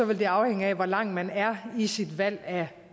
vil det afhænge af hvor langt man er i sit valg af